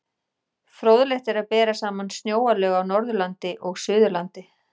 Fróðlegt er að bera saman snjóalög á Norðurlandi og Suðurlandi.